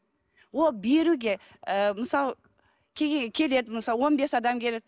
ол беруге ы мысалы келеді мысал он бес адам келеді